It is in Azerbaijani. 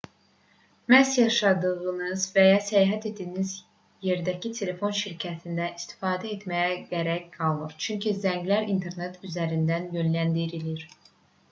məhz yaşadığınız və ya səyahət etdiyiniz yerdəki telefon şirkətindən istifadə etməyə gərək qalmır çünki zənglər internet üzərindən yönləndirilir